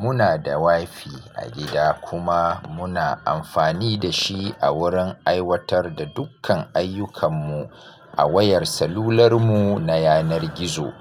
Muna da WiFi a gida kuma muna amfani da shi a wurin aiwatar da dukkan ayyukan mu a wayar salular mu na yanar gizo.